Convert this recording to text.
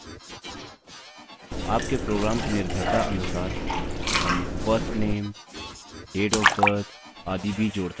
आपके प्रोग्राम की निर्भरता अनुसार हम first name date of birth आदि भी जोड़ सकते हैं